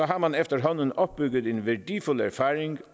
har man efterhånden opbygget en værdifuld erfaring